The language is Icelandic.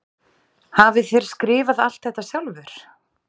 Hafið þér skrifað allt þetta sjálfur?